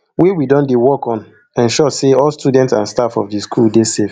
wey we don dey work to ensure say all students and staff of di school dey safe